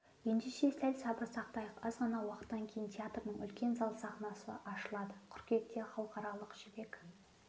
ендеше сәл сабыр сақтайық аз ғана уақыттан кейін театрдың үлкен зал сахнасы ашылады қыркүйекте халықаралық жібек